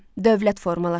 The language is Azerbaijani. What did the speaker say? Dövlət formalaşdı.